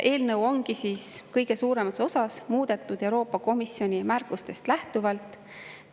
Eelnõu ongi kõige suuremas osas muudetud Euroopa Komisjoni märkustest lähtuvalt.